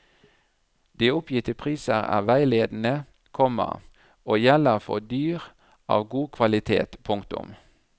De oppgitte priser er veiledende, komma og gjelder for dyr av god kvalitet. punktum